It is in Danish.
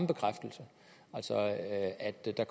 bekræftelse af at der